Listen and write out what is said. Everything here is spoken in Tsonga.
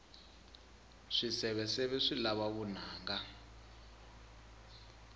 swiseveseve swi lava vunanga